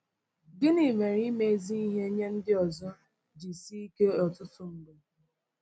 Gịnị mere ime ezi ihe nye ndị ọzọ ji sie ike ọtụtụ mgbe?